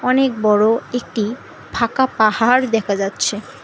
অনেক বড় একটি ফাঁকা পাহাড় দেখা যাচ্ছে।